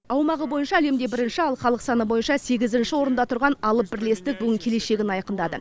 аумағы бойынша әлемде бірінші ал халық саны бойынша сегізінші орында тұрған алып бірлестік бүгін келешегін айқындады